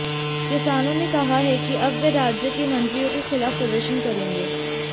किसानों ने कहा है कि अब वे राज्य के मंत्रियों के खिलाफ प्रदर्शन करेंगे